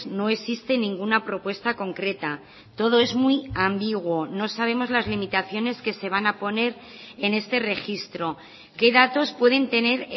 no existe ninguna propuesta concreta todo es muy ambiguo no sabemos las limitaciones que se van a poner en este registro qué datos pueden tener